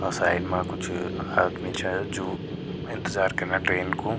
अ side मा कुछ आदमी छ जू इंतज़ार करना ट्रेन कु।